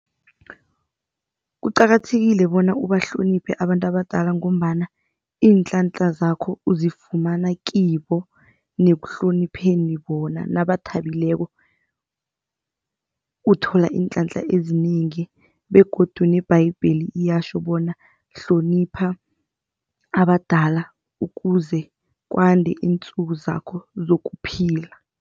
Kuqakathekile bona ubahloniphe abantu abadala ngombana iinhlanhla zakho uzifumana kibo nekuhlonipheni bona nabathabileko, uthola iinhlanhla ezinengi begodu neBhayibheli iyatjho bona hlonipha abadala ukuze kwande iinsuku zakho zokuphila.